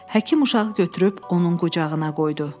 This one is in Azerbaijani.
Həkim uşağı götürüb onun qucağına qoydu.